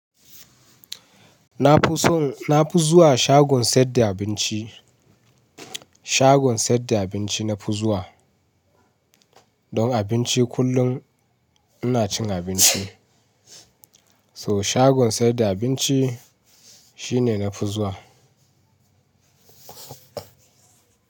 Na fi son, na fi zuwa shagon saida abinci, shagon saida abinci nafi zuwa. Don abinci kullum ina cin abinci. So shagon saida abinci shine nafi zuwa.